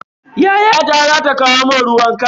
Yayata za ta kawo mun ruwan khal.